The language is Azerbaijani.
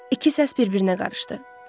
İki səs bir-birinə qarışdı.